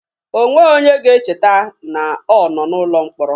O nweghị onye ga-echeta na ọ nọ n'ụlọ mkpọrọ.